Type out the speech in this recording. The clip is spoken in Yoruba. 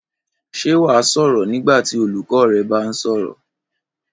Ṣé wà á sọ̀rọ̀ nígbà tí olùkọ́ rẹ bá ń sọ̀rọ̀?